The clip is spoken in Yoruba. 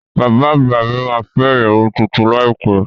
Bàbá àgbà mí ma fẹ́ ìyàwó tuntun láìpẹ́